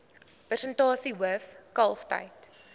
persentasie hoof kalftyd